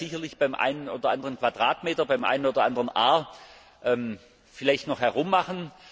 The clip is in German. Man kann da sicherlich beim einen oder anderen Quadratmeter, beim einen oder anderen Ar vielleicht noch herummachen.